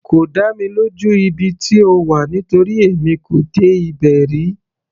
Kò dá mi lójú ibi tí ó wà nítorí èmi kò dé ibẹ̀ rí.